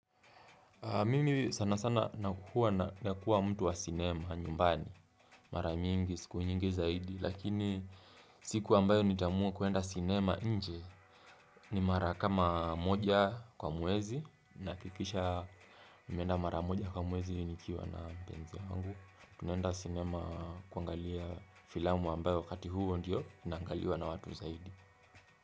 Mimi sana sana nakuwa na nakuwa mtu wa sinema nyumbani, mara nyingi, siku nyingi zaidi, lakini siku ambayo nitaamua kuenda sinema nje ni mara kama moja kwa muwezi nahakikisha nimeenda mara moja kwa mwezi nikiwa na mpenzi wangu, tunaenda sinema kuangalia filamu ambayo wakati huo ndio inaangaliwa na watu zaidi.